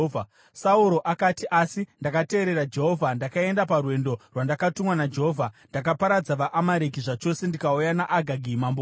Sauro akati, “Asi ndakateerera Jehovha. Ndakaenda parwendo rwandakatumwa naJehovha. Ndakaparadza vaAmareki zvachose ndikauya naAgagi mambo wavo.